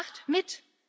Macht mit!